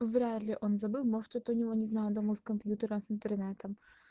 вряд ли он забыл может это у него не знаю дома с компьютером с интернетом